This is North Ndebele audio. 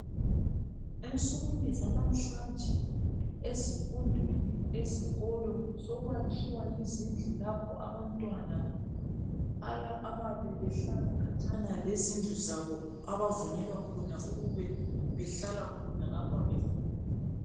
Ensukwini zanamhlanje ezifundweni ezikolo sokwakhiwa izindlu lapho abantwana abayabe behlala khatshana lezindlu zabo abavunyelwa khona ukuba behlala khona ngapha befunda.